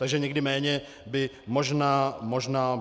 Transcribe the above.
Takže někdy by méně možná bylo více.